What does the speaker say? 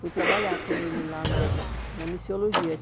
Fui trabalhar com ele lá na na missiologia.